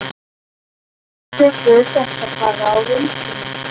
Þú tekur þetta bara á reynslunni?